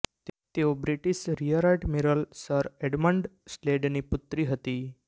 તેઓ British rear admiral sir Edmund સ્લેડની પુત્રી હતી